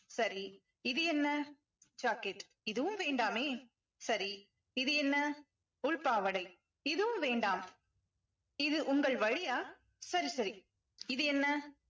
சரி இது என்ன ஜாக்கெட் இதுவும் வேண்டாமே சரி இது என்ன உள் பாவாடை இதுவும் வேண்டாம் இது உங்கள் வழியா சரி சரி இது என்ன